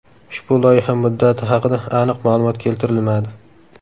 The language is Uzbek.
Ushbu loyiha muddati haqida aniq ma’lumot keltirilmadi.